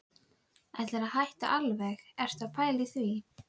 Er afrit bréfsins varðveitt í skjalasafni Háskólans.